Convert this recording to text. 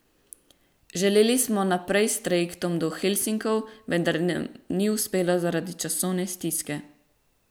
Želeli smo naprej s trajektom do Helsinkov, vendar nam ni uspelo zaradi časovne stiske.